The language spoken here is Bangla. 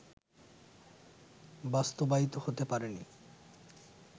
বাস্তবায়িত হতে পারে নি